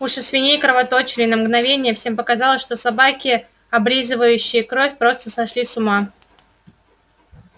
уши свиней кровоточили и на мгновение всем показалось что собаки облизывающие кровь просто сошли с ума